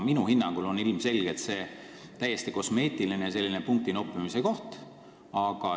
Minu hinnangul on see ilmselgelt täiesti kosmeetiline parandus, punkti noppimise võte.